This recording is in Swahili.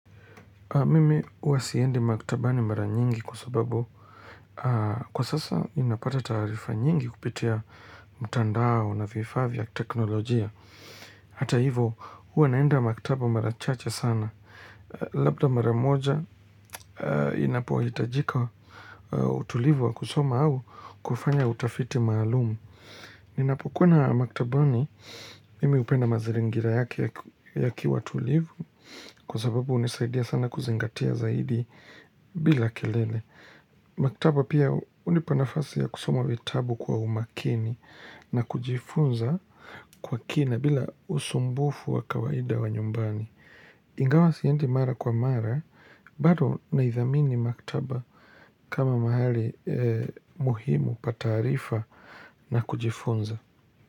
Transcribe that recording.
Mimi huwasiendi maktabani mara nyingi kwa sababu kwa sasa inapata taarifa nyingi kupitia mtandao na vifaa vya teknolojia. Hata hivyo huwa naenda maktaba mara chache sana labda mbara moja inapohitajika utulivu wa kusoma au kufanya utafiti maalumu. Ninapokuwana maktabani mimi hupenda maziringira yake yakiwatulivu kwa sababu hunisaidia sana kuzingatia zaidi bila kelele. Maktaba pia hunipa nafasi ya kusoma vitabu kwa umakini na kujifunza kwa kina bila usumbufu wa kawaida wa nyumbani. Ingawa siendi mara kwa mara, bado na idhamini maktaba kama mahali muhimu pataarifa na kujifunza.